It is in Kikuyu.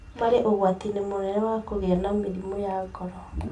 marĩ ũgwati-inĩ mũnene wa kũgĩa na mĩrimũ ya ngoro.